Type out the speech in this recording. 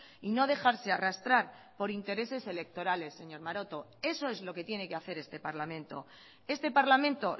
y no dejarse arrastrar por intereses electorales señor maroto eso es lo que tiene que hacer este parlamento este parlamento